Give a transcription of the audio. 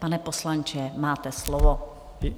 Pane poslanče, máte slovo.